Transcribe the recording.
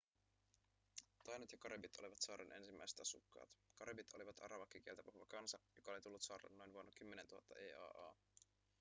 tainot ja karibit olivat saaren ensimmäiset asukkaat karibit olivat arawakkikieltä puhuva kansa joka oli tullut saarelle noin vuonna 10 000 eaa